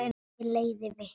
Ég leiði vitni.